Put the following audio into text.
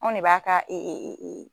Anw de b'a ka